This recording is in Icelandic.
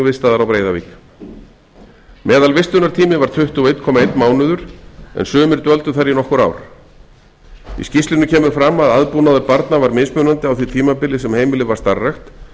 vistaðar á breiðavík meðalvistunartími var tuttugu og einn komma einn mánuður en sumir dvöldu þar í nokkur ár í skýrslunni kemur fram að aðbúnaður barna var mismunandi á því tímabili sem heimilið var starfrækt